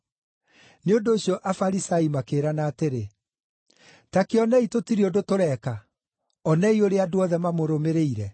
Nĩ ũndũ ũcio Afarisai makĩĩrana atĩrĩ, “Ta kĩonei tũtirĩ ũndũ tũreeka. Onei ũrĩa andũ othe mamũrũmĩrĩire!”